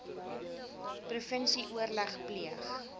provinsie oorleg pleeg